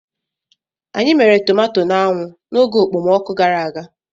Anyị mere tomato n'anwụ n'oge okpomọkụ gara aga.